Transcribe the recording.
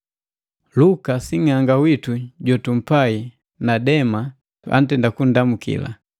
Luka sing'anga witu jotumpai na Dema antenda kundamu.